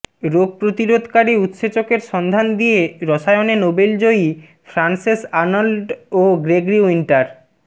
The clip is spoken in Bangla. রোগ প্রতিরোধকারী উৎসেচকের সন্ধান দিয়ে রসায়নে নোবেলজয়ী ফ্রান্সেস আর্নল্ড ও গ্রেগরি উইন্টার